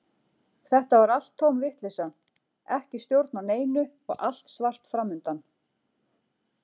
Þetta var allt tóm vitleysa, ekki stjórn á neinu og allt svart fram undan.